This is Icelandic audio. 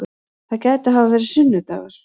Það gæti hafa verið sunnu-dagur.